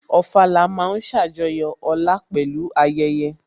Ofala ma ń ṣàjọyọ̀ ọlá pẹ̀lú ayẹyẹ